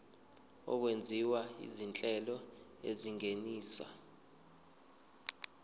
okwenziwa izinhlelo ezingenisa